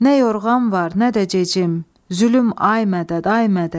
Nə yorğan var, nə də gecim, zülüm, ay mədəd, ay mədəd.